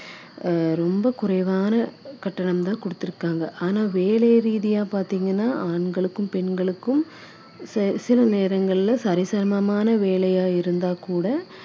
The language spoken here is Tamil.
கட்டணம் தான் கொடுத்திருக்காங்க ஆனா வேலை ரீதியா பாத்தீங்கன்னா ஆண்களுக்கும் பெண்களுக்கும் செ~ சில நேரங்களில சரிசமமான வேலையா இருந்தா கூட அதே வேலையை தான் ஆம்பளைங்களும் செய்யுறாங்க